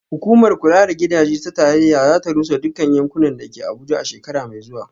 Hukumar kula da gidaje ta tarayya za ta rusa dukkan yankunan da ke Abuja a shekara mai zuwa